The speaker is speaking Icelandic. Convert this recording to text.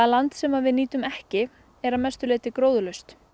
land sem við nýtum ekki er að mestu leyti gróðurlaust